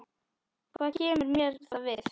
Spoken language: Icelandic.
Hvað kemur mér það við?